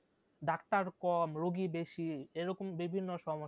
doctor কম রুগী বেশি এরকম বিভিন্ন সমস্যা,